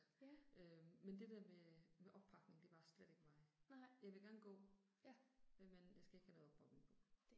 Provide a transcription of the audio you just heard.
Øh men det der med med oppakning det er bare slet ikke mig. Jeg vil gerne gå, øh men jeg skal ikke have noget oppakning på